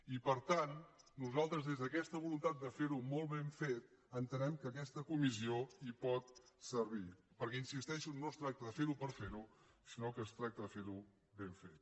i per tant nosaltres des d’aquesta voluntat de fer ho molt ben fet entenem que aquesta comissió hi pot servir perquè hi insisteixo no es tracta de fer ho per fer ho sinó que es tracta de fer ho ben fet